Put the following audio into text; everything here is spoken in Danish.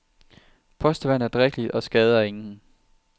Postevand er drikkeligt og skader ingen.